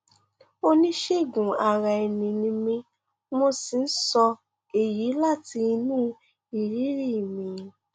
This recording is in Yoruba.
oníṣègùnaraẹni ni mí mo sì ń sọ èyí láti inú ìrírí mi